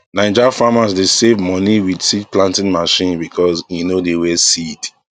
9ja farmers dey save money with seed planting machine because e no dey waste seed